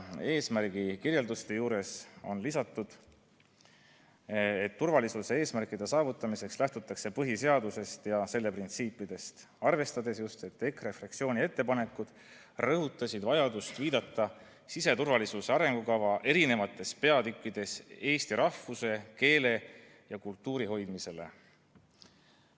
Eesmärgi kirjelduste juurde on lisatud, et turvalisuse eesmärkide saavutamiseks lähtutakse põhiseadusest ja selle printsiipidest, arvestades just, et EKRE fraktsiooni ettepanekud rõhutavad vajadust viidata siseturvalisuse arengukava eri peatükkides eesti rahvuse, keele ja kultuuri hoidmisele.